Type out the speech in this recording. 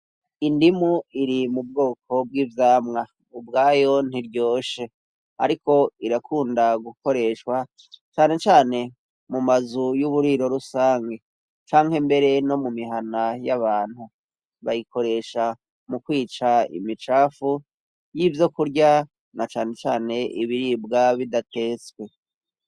Indimu iri mu bwoko bw'ivyamwa ubwayo ntiryoshe, ariko irakunda gukoreshwa canecane mu mazu y'uburiro rusange canke mbere no mu mihana y'abantu bayikoresha mu kwica imicafu y'ivyo kurya na canecane ne ibiribwa bidatetswe.